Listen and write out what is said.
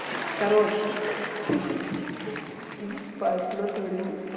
короче хи-хи иди спать в натуре